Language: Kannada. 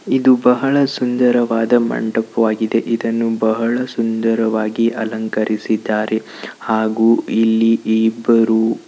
ಇದು ಬಹಳ ಸುಂದರವಾದ ಮಂಟಪ ನಾನು ಇದನ್ನು ಬಹಳ ಸುಂದರವಾಗಿ ಅಲಂಕರಿಸಿದ್ದಾರೆ. ಹಾಗೂ ಇಲ್ಲಿ ಇಬ್ಬರು--